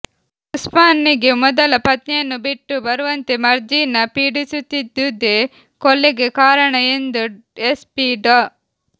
ಉಸ್ಮಾನ್ ನಿಗೆ ಮೊದಲ ಪತ್ನಿಯನ್ನು ಬಿಟ್ಟು ಬರುವಂತೆ ಮರ್ಜೀನಾ ಪೀಡಿಸುತ್ತಿದ್ದುದೇ ಕೊಲೆಗೆ ಕಾರಣ ಎಂದು ಎಸ್ಪಿ ಡಾ